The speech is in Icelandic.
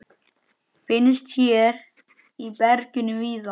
Finnst hér í berginu víða.